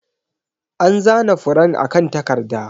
An zana furen akan takarda.